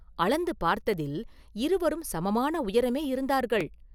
“அளந்து பார்த்ததில் இருவரும் சமமான உயரமே இருந்தார்கள்.